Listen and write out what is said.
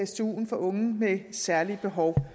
stuen for unge med særlige behov